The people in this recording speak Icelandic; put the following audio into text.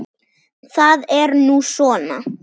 Það er nú svona.